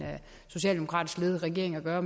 socialdemokratisk ledede regering at gøre